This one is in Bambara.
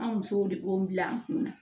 An musow de b'o bila an kunna